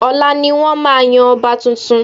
Ọ̀la ni wọ́n máa yan ọba tuntun